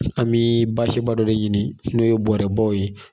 An bii baseba dɔ de ɲini n'o ye bɔrɛbaw ye